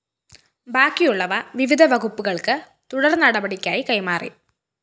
ബാക്കിയുള്ളവ വിവിധ വകുപ്പുകള്‍ക്ക് തുടര്‍നടപടിക്കായി കൈമാറി